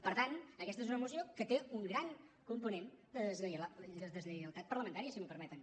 per tant aquesta és una moció que té un gran component de deslleialtat parlamentària si m’ho permeten